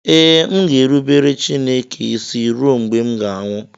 Ee, m ga-erubere Chineke isi ruo mgbe m ga-anwụ